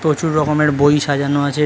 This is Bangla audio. প্রচুর রকমের বই সাজানো আছে।